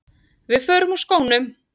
Við förum úr skónum.